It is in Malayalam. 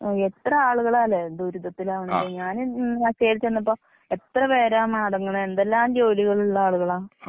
ഓ, എത്ര ആളുകളാല്ലെ ദുരിതത്തിലാവുന്നത് ഞാൻ ന്നാള് കേറി ചെന്നപ്പോ എത്ര പേരാ മടങ്ങണെ, എന്തെല്ലാം ജോലികളുളള ആളുകളാ.